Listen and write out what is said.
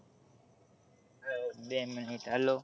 બે minute hello